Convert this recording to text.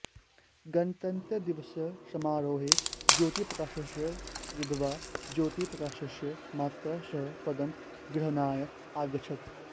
गणतंत्रदिवसस्य समारोहे ज्योतिप्रकाशस्य विधवा ज्योतिप्रकाशस्य मात्रा सह पदं ग्रहणाय आगच्छत्